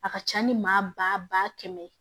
A ka ca ni maa ba kɛmɛ ye